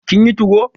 kin yi 2go?